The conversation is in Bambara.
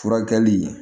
Furakɛli